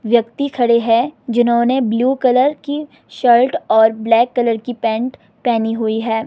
व्यक्ति खड़े है जिन्होंने ब्लू कलर की शर्ट और ब्लैक कलर की पैंट पहनी हुई है।